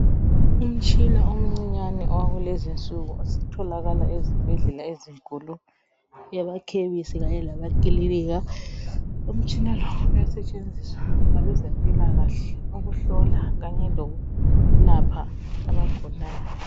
Umtshina omncinyane wakulezinsuku osutholakala ezibhedlela ezinkulu, emakhemisi kanye lemakilinika. Umtshina lo uyasetshenziswa ngabezempilakahle ukuhlola kanye lokulapha abagulayo.